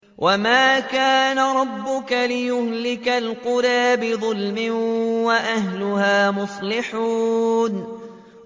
وَمَا كَانَ رَبُّكَ لِيُهْلِكَ الْقُرَىٰ بِظُلْمٍ وَأَهْلُهَا مُصْلِحُونَ